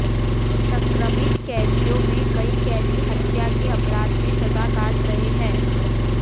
संक्रमित कैदियों में कई कैदी हत्या के अपराध में सजा काट रहे हैं